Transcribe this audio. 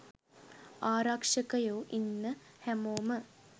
ආරක්ෂකයෝ ඉන්න හැමෝම